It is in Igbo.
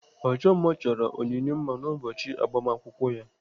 Ọchọ mma chọrọ Onyinye mma n'ụbọchị agbamakwụkwọ ya.